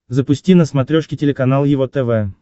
запусти на смотрешке телеканал его тв